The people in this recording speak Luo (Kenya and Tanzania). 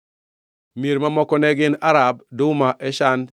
Mier mamoko ne gin: Arab, Duma, Eshan,